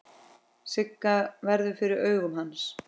Sigga verður fyrir augum hans.